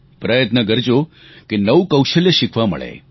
પ્રયત્ન કરજો કે નવું કૌશલ્ય શીખવા મળે